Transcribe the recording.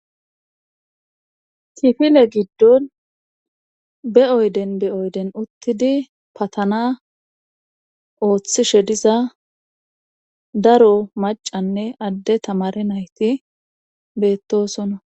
Kifile giddon be7oyden be oyden uttidi patana ooththishe diza daro macanne adde tamare nayti beettosona.